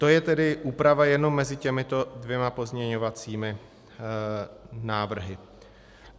To je tedy úprava jenom mezi těmito dvěma pozměňovacími návrhy.